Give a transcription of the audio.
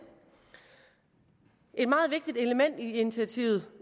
et element i initiativet